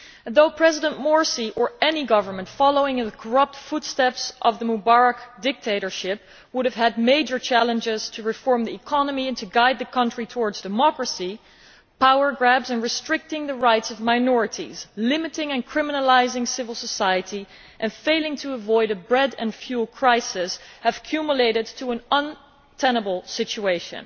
Though President Morsi or any government following in the corrupt footsteps of the Mubarak dictatorship would have had major challenges to reform the economy and to guide the country towards democracy, power grabs and restricting the rights of minorities, limiting and criminalising civil society and failing to avoid a bread and fuel crisis have culminated in an untenable situation.